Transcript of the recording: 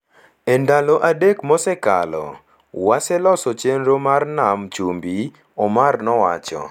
E ndalo adek mosekalo, waseloso chenro mar Nam Chumbi,” Omar nowacho.